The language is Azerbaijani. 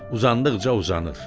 Uzandıqca uzanır.